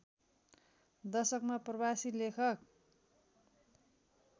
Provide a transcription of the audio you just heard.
दशकमा प्रवासी लेखक